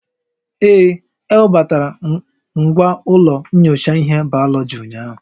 Ee, ewebata ngwa ụlọ nyocha ihe bayoloji ụnyahụ